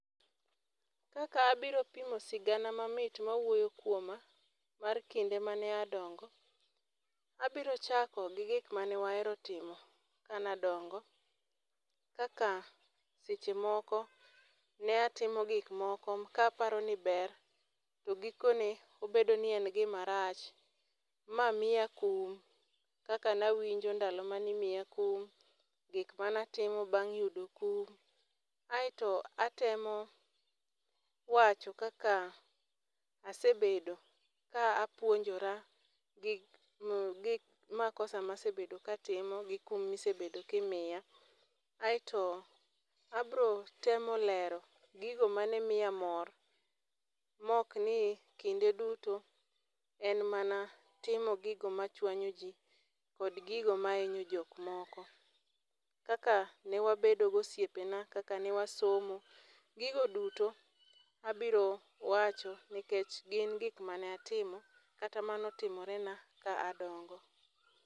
Kaka abiro pimo sigana mamit mawuoyo kuoma, mar kinde mane adongo. Abiro chako gi gik mane wahero timo, ka ne adongo. Kaka seche moko, ne atimo gik moko ka aparo ni ber, to gikone obedo ni en gima rach, ma miya kum. Kaka nawinjo ndalo mane imiya kum, gik mane atimo bang' yudo kum. Aeto atemo wacho kaka asebedo ka apuonjora gi makosa ma asebedo ka atimo, gi kum mosebedo ka imiya. Aeto abiro temo lero gigo mane miya mor. Ma ok ni kinde duto en mana timo gigo ma chwanyo ji, kod gigo ma hinyo jok moko. Kaka ne wabedo gi osepena, kaka ne wasomo, gigo duto abiro wacho nikech gin gik mane atimo kata mane otimore na ka adongo.